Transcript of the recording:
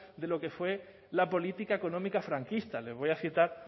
de lo que fue la política económica franquista les voy a citar